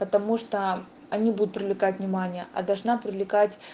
потому что они будут привлекать внимания а должна привлекать